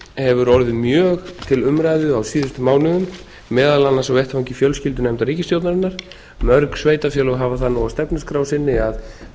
hefur orði mjög til umræðu á síðustu mánuðum meðal annars á vettvangi fjölskyldunefndar ríkisstjórnarinnar mörg sveitarfélög hafa það nú á stefnuskrá sinni að